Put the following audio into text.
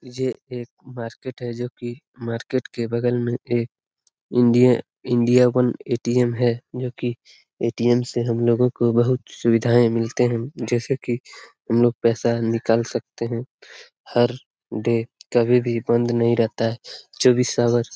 ये एक मार्केट है जो की मार्केट के बगल में एक इंडिया इंडिया वन ए.टी.एम. है जो की ए.टी.एम. से हम लोगो को बहुत सुविधाएं मिलती है जैसे की हम लोग पैसा निकाल सकते हैं हर डे कभी भी बंद नहीं रहता है चौबीस आवर --